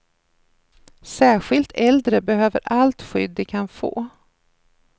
Särskilt äldre behöver allt skydd de kan få.